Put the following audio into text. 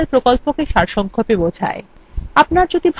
এটি কথ্য tutorial প্রকল্পটিকে সারসংক্ষেপে বোঝায়